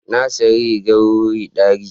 Na sayi rigar wuri ɗari.